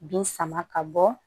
Bin sama ka bɔ